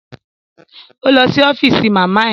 Ó lọ sí ọ́fíìsì màmá ẹ